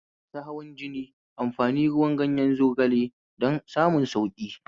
Masu hawan jini amfani ruwan ganyen zogale don samun sauƙi